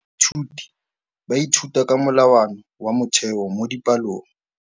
Baithuti ba ithuta ka molawana wa motheo mo dipalong.